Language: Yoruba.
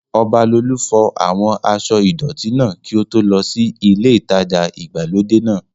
Ọbalolú fọ àwọn aṣọ́ ìdọ̀tí náà kí ó tó lọ sí ilé ìtajà ìgbàlódé náà